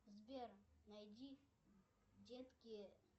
сбер найди детки